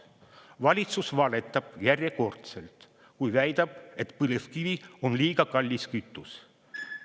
Valitsus valetab järjekordselt, kui väidab, et põlevkivi on liiga kallis kütus.